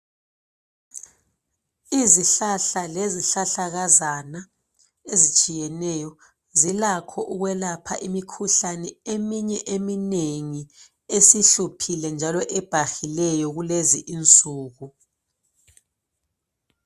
Izihlahla lesihlahlakazana ezitshiyeneyo zilakho ukwelapha imikhuhlane eminye eminengi esihluphile njalo ebhahileyo kulezi insuku.